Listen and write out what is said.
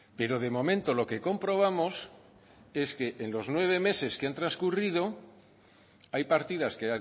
pero de momento lo que comprobamos es que en los nueve meses que han transcurrido hay partidas que